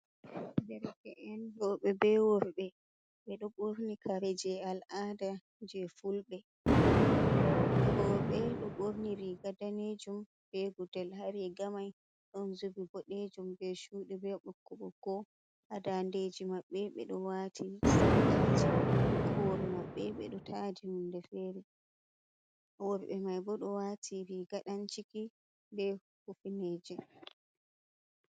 Dereke’en roɓe be worɓe" ɓe ɗo ɓorni kare je al’ada je fulɓe. Roɓe ɗo ɓorni riga danejum be gudel, ha rigamai ɗon zubi boɗejum be chuɗi be ɓokko ɓokko. Ha dandeji maɓɓe ɓe ɗo wati sarqaji, hahore maɓɓe ɓe ɗo tadi hunde fere. Worɓe mai bo ɗo wati riga ɗan ciki be hufineje.